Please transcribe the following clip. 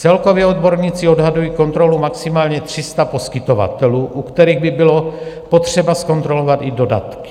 Celkově odborníci odhadují kontrolu maximálně 300 poskytovatelů, u kterých by bylo potřeba zkontrolovat i dodatky.